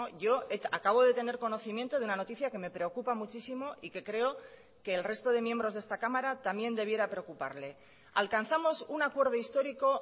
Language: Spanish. yo acabo de tener conocimiento de una noticia que me preocupa muchísimo y que creo que el resto de miembros de esta cámara también debiera preocuparle alcanzamos un acuerdo histórico